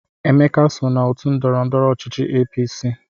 Emeka so n'otu ndọrọndọrọ ọchịchị APC.